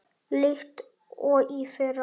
líkt og í fyrra.